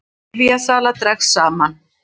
Lyfjasala dregst saman